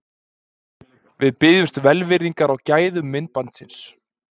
Við biðjumst velvirðingar á gæðum myndbandsins.